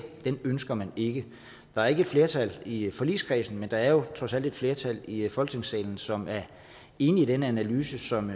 ønsker man ikke der er ikke et flertal i forligskredsen men der er jo trods alt et flertal i folketingssalen som er enig i den analyse som